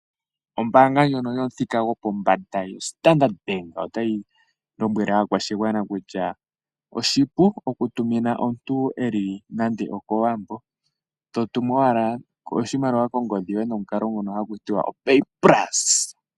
Ombaanga ndjono yomuthika yopombanda oStandard bank otayi lombwele aakwashigwana kutya oshili oshipu okutumina omuntu iimaliwa e li nande okowambo, to tumu ashike nongodhi yoye tolongitha omukalo ngono haku tiwa oPay pulse.